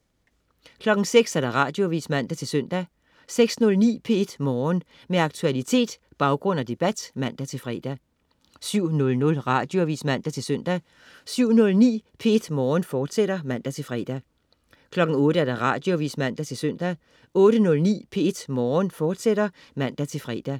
06.00 Radioavis (man-søn) 06.09 P1 Morgen. Med aktualitet, baggrund og debat (man-fre) 07.00 Radioavis (man-søn) 07.09 P1 Morgen, fortsat (man-fre) 08.00 Radioavis (man-søn) 08.09 P1 Morgen, fortsat (man-fre)